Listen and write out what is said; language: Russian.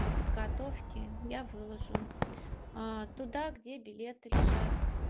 для подготовки я выложу туда где билеты лежат